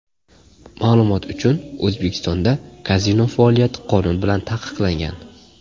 Ma’lumot uchun, O‘zbekistonda kazino faoliyati qonun bilan taqiqlangan.